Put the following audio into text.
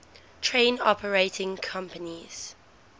train operating companies